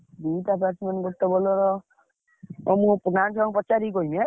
ଦିଟା batsman ଗୋଟେ bowler ହଉ ମୁଁ ଗାଁ ଛୁଆଙ୍କୁ ପଚାରିକି କହିବି ଏଁ।